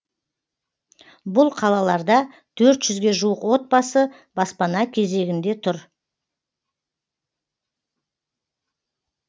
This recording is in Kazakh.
бұл қалаларда төрт жүзге жуық отбасы баспана кезегінде тұр